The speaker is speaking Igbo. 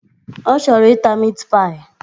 Ọ chọrọ ịta mit paị